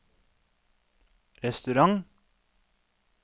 restaurant